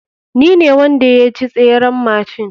Ni ne wanda yaci tseren machine.